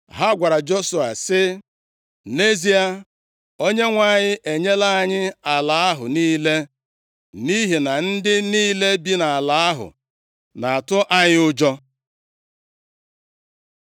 Ha gwara Joshua sị, “Nʼezie, Onyenwe anyị enyela anyị ala ahụ niile, nʼihi na ndị niile bi nʼala ahụ na-atụ anyị ụjọ.”